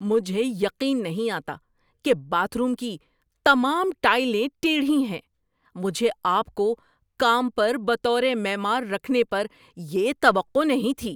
مجھے یقین نہیں آتا کہ باتھ روم کی تمام ٹائلیں ٹیڑھی ہیں! مجھے آپ کو کام پر بطور معمار رکھنے پر یہ توقع نہیں تھی۔